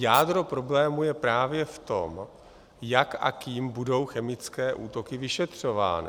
Jádro problému je právě v tom, jak a kým budou chemické útoky vyšetřovány.